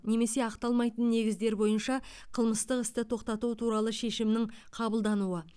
немесе ақталмайтын негіздер бойынша қылмыстық істі тоқтату туралы шешімнің қабылдануы